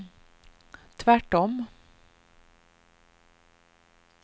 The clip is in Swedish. tvärtom